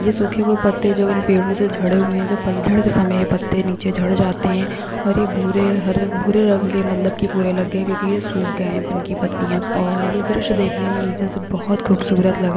ये सुखे हुए पत्ते जो इन पेड़ो से झड़े हुए है जो पतझड़ के समय ये पत्ते नीचे झड़ जाते है और ये भुरे हरे भुरे रंग के मतलब की पुरे अलग है क्योकी ये सुख गये है इनकी पत्तियां और ये दृश्य देखने मे नीचे से बहुत खुबसुरत लग --